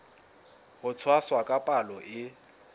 ho tshwasa ka palo e